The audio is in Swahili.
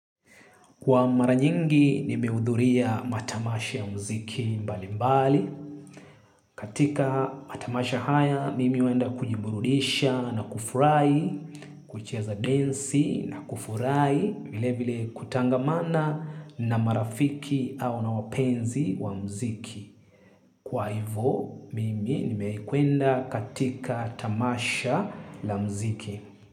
Kwa mara nyingi, nimeudhuria matamasha ya mziki mbali mbali. Katika matamasha haya, mimi uenda kujiburudisha na kufurahi, kucheza densi na kufurahi vile vile kutangamana na marafiki au na wapenzi wa mziki. Kwa hivo, mimi nimekwenda katika tamasha la mziki.